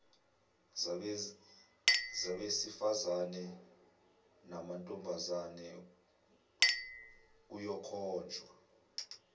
zabesifazane namantombazane kuyokhonjwa